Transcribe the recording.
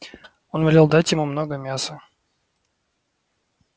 он велел дать ему много мяса